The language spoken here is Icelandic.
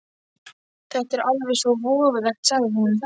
Þetta er alveg svo voðalegt, sagði hún.